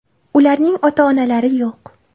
Ularning ota-onalari yo‘q.